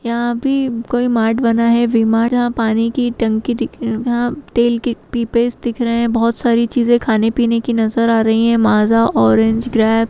यहाँ भी कोई मार्ट बना है वी मार्ट जहाँ पानी की टंकी दिख जहाँ तेल के पिपेस दिख रहे हैं बहोत सारी चीजे खाने पीने की नज़र आ रही है माजा ऑरेंज ग्रैप ।